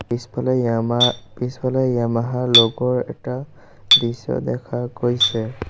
পিছফালে ইমা পিছফালে য়ামাহাৰ ল'গ'ৰ এটা দৃশ্য দেখা গৈছে।